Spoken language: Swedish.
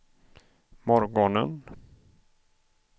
morgonen